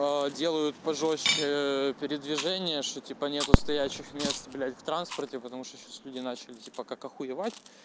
а делают пожёстче передвижения что типа нет стоячих мест блять в транспорте потому что сейчас люди начали типа как охуевать